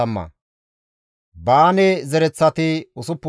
Bessaye zereththati 323,